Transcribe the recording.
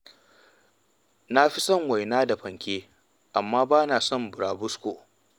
Ni na fi son waina da fanke, amma ba na son burabusko.